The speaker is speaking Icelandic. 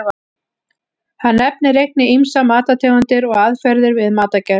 Hann nefnir einnig ýmsar matartegundir og aðferðir við matargerð.